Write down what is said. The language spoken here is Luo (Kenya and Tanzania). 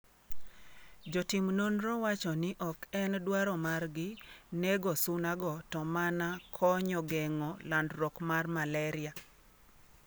Jotim nonro wacho ni oken dwaro margi nego suna go to mana konyo geng'o landruok mar Malaria